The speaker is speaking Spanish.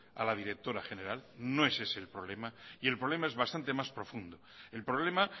a la directora general no es ese el problema y el problema es bastante más profundo el problema